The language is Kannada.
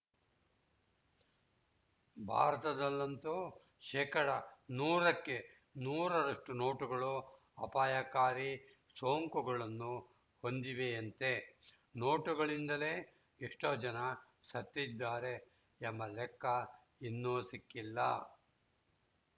ಭಾರತದಲ್ಲಂತೂ ಶೇಕಡಾ ನೂರಕ್ಕೆ ನೂರರಷ್ಟುನೋಟುಗಳು ಅಪಾಯಕಾರಿ ಸೋಂಕುಗಳನ್ನು ಹೊಂದಿವೆಯಂತೆ ನೋಟುಗಳಿಂದಲೇ ಎಷ್ಟುಜನ ಸತ್ತಿದ್ದಾರೆ ಎಂಬ ಲೆಕ್ಕ ಇನ್ನೂ ಸಿಕ್ಕಿಲ್ಲ